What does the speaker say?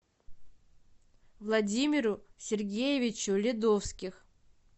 владимиру сергеевичу ледовских